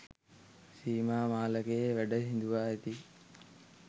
සීමා මාලකයේ වැඩ හිඳුවා ඇති